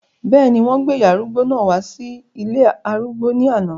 bẹ́ẹ̀ni, wọ́n gbé ìyá arúgbó náà wá sí ilé arúgbó ní àná